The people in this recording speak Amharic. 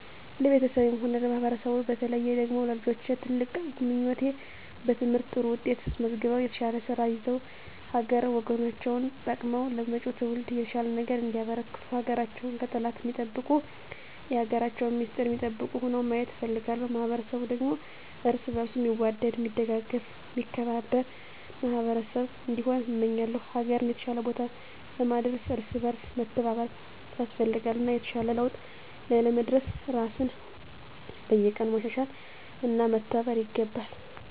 ለቤተሰቤም ሆነ ለማህበረሰቡ በተለየ ደግሞ ለልጆቼ ትልቁ ምኞቴ በትምህርት ጥሩ ውጤት አስመዝግበው የተሻለ ስራ ይዘው ሀገር ወገናቸውን ጠቅመው ለመጭው ትውልድ የተሻለ ነገር እንዲያበረክቱ ሀገራቸውን ከጠላት ሚጠብቁ የሀገራቸውን ሚስጥር ሚጠብቁ ሁነው ማየት እፈልጋለሁ። ማህበረሰቡ ደግሞ እርስ በእርሱ ሚዋደድ ሚደጋገፍ ሚከባበር ማህበረሰብ እንዲሆን እመኛለው። ሀገርን የተሻለ ቦታ ለማድረስ እርስ በእርስ መተባበር ያስፈልጋል እና የተሻለ ለውጥ ላይ ለመድረስ ራስን በየቀኑ ማሻሻል እና መተባበር ይገባል።